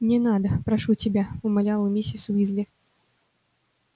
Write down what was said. не надо прошу тебя умоляла миссис уизли